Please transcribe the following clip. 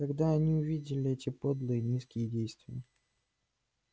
когда они увидели эти подлые низкие действия